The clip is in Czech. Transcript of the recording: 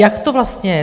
jak to vlastně je.